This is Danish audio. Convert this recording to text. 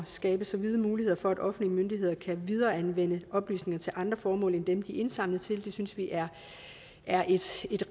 skabe så vide muligheder for at offentlige myndigheder kan videreanvende oplysninger til andre formål end dem de er indsamlet til det synes vi er er et